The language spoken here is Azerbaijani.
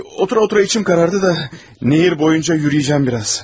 Otura-otura içim qaraldı da, çay boyunca gəzəcəyəm biraz.